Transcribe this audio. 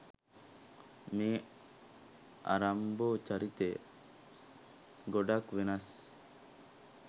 මේ රම්බෝ චරිතය ගොඩක් වෙනස්.